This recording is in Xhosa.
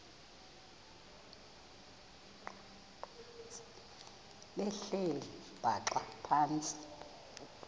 behleli bhaxa phantsi